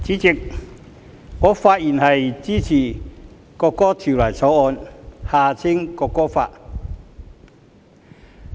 代理主席，我發言支持《國歌條例草案》。